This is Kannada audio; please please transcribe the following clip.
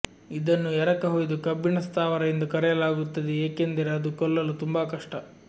ಇದನ್ನು ಎರಕಹೊಯ್ದ ಕಬ್ಬಿಣ ಸ್ಥಾವರ ಎಂದು ಕರೆಯಲಾಗುತ್ತದೆ ಏಕೆಂದರೆ ಅದು ಕೊಲ್ಲಲು ತುಂಬಾ ಕಷ್ಟ